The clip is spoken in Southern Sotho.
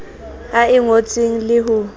a e ngotseng le ho